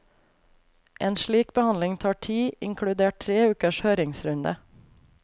En slik behandling tar tid, inkludert tre ukers høringsrunde.